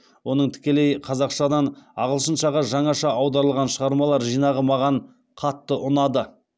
оның тікелей қазақшадан ағылшыншаға жаңаша аударылған шығармалар жинағы маған қатты ұнады